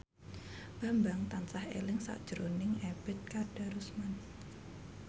Bambang tansah eling sakjroning Ebet Kadarusman